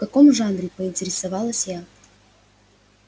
в каком жанре поинтересовалась я